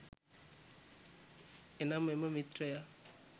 එනම් එම මිත්‍රයා